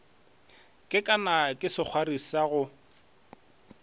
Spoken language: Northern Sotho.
kekana ke sekgwari sa go